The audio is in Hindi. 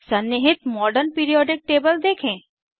सन्निहित मॉडर्न पीरिऑडिक टेबल देखें